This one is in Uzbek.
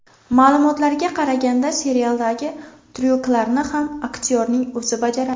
Ma’lumotlarga qaraganda serialdagi tryuklarni ham aktyorning o‘zi bajaradi.